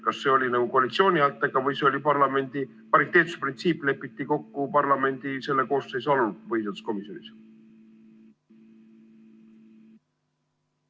Kas see oli koalitsiooni häältega või see pariteetsusprintsiip lepiti kokku parlamendi selle koosseisu alul põhiseaduskomisjonis?